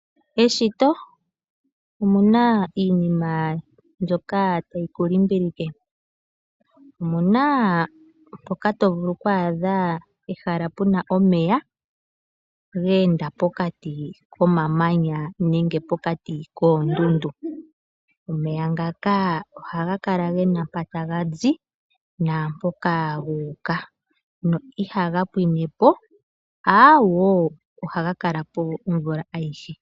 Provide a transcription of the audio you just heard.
Eshito omuna iinima mbyoka tayi kulimbilike. Omuna moka tovulu okwaadha ehala puna omeya ga enda pokati komamanya nenge pokati koondundu. Omeya ngaka ohagakala gena mpa taga zi naampoka ga uka, na ihaga pwiine po aawo, ohaga kala po omvula ayihe.